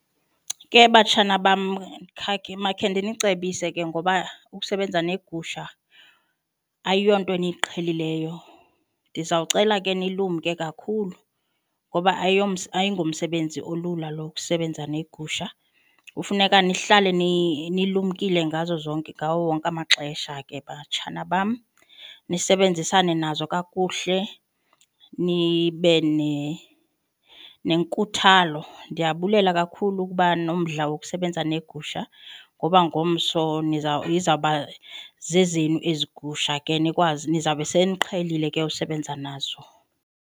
Ke batshana bam makhe ndinicebise ke ngoba ukusebenza neegusha ayiyonto eniyiqhelileyo, ndizawucela ke nilumke kakhulu ngoba ayingomsebenzi olula lo kusebenza neegusha. Kufuneka nihlale nilumkile ngazo ngawo onke amaxesha ke batshana bam. Nisebenzisane nazo kakuhle nibe nenkuthalo ndiyabulela kakhulu ukuba nomdla wokusebenza neegusha ngoba ngomso izawuba zezenu ezi gusha ke nikwazi nizawube seniqhelile ke usebenza nazo.